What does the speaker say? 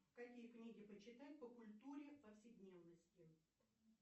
какие книги почитать по культуре повседневности